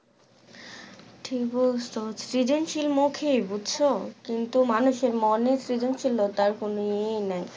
ঠিক বলসস সৃজনশীল মৌখিক বুজছো কিন্তু মানুষের মনে সৃজনশীলতার কোনো ই নাই